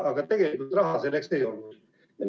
Aga tegelikult raha selleks ei olnud.